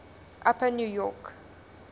upper new york